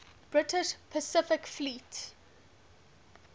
british pacific fleet